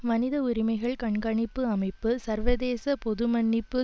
மனித உரிமைகள் கண்காணிப்பு அமைப்பு சர்வதேச பொது மன்னிப்பு